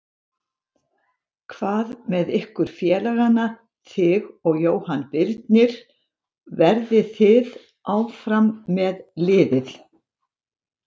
Hvað með ykkur félagana þig og Jóhann Birnir, verðið þið áfram með liðið?